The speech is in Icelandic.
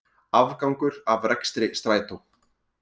Afgangur af rekstri Strætó